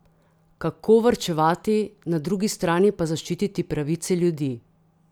Kako varčevati, na drugi strani pa zaščititi pravice ljudi?